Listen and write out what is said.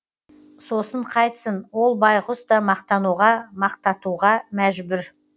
сосын қайтсін ол байғұс та мақтануға мақтатуға мәжбүр